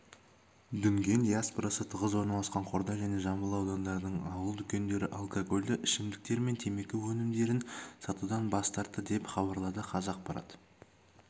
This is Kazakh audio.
дүнген диаспорасы тығыз орналасқан қордай және жамбыл аудандарының ауыл дүкендері алкогольді ішімдіктер мен темекі өнімдерін сатудан бас тартты деп хабарлады қазақпарат